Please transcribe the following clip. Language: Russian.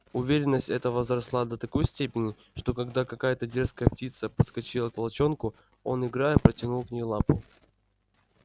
уверенность эта возросла до такой степени что когда какая-то дерзкая птица подскочила к волчонку он играя протянул к ней лапу